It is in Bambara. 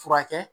Furakɛ